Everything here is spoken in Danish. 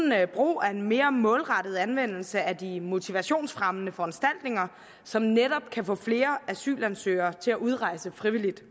brug af en mere målrettet anvendelse af de motivationsfremmende foranstaltninger som netop kan få flere asylansøgere til at udrejse frivilligt